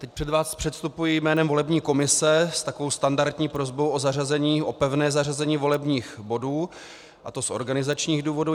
Teď před vás předstupuji jménem volební komise s takovou standardní prosbou o pevné zařazení volebních bodů, a to z organizačních důvodů.